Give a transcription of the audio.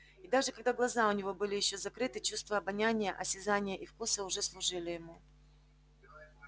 и даже когда глаза у него были ещё закрыты чувства обоняния осязания и вкуса уже служили ему